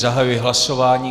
Zahajuji hlasování.